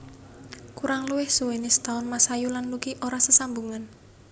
Kurang luwih suwené setaun Masayu lan Lucky ora sesambungan